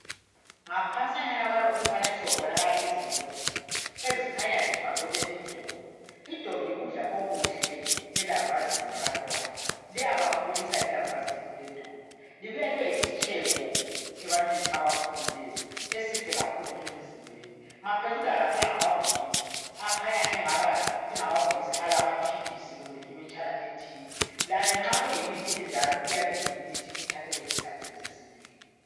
ngaphansanyana kalo umfanekiso kubonakala izimbodlela ezikhanya zifakelwe idobi idobi yikudla okuhle elambazini labantwana liyabakhulisa ilambazi eliledobi libuya libe yisitshebo ebantwini abakhulileyo esihle kakhulu emizimbeni phezudlwana laphana ngamabhokisi akhanya engamabhokisi alamaphilisi kumbe imitshana ethile layo nxa kuyimithi enjalo iyabe iyimithi ethathelwe ezihlahleni zesintwini